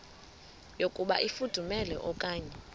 yokuba ifudumele okanye